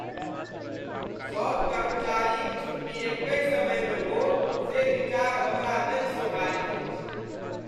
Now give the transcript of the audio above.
सभ कर्मचारीक छुट्टी एकहि समयमे हो, से विचार हमरा नहि सोहाइत अछि।